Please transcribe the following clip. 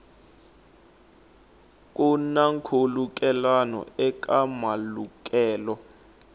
ku na nkhulukelano eka malukelo